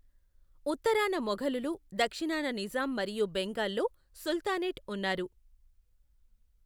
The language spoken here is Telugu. ఉత్తరాన మొఘలులు, దక్షిణాన నిజాం మరియు బెంగాల్లో సుల్తానేట్ ఉన్నారు.